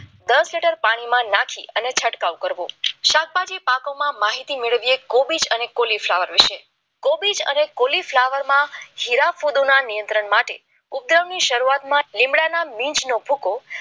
દસ લીટર પાણીમાં નાખી અને છંટકાવ કરવો શાકભાજી પાકવામાં માહિતી મેળવીએ અને કોલી ફ્લાવર વિશે કોબીજ અને કોલીફ્લાવરમાં હીરાના નિયંત્રણ માટે ઉદ્ધવની શરૂઆત લીમડાના બીજ ભૂકો